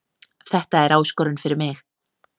Þetta er áskorun fyrir mig